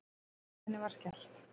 Hurðinni var skellt.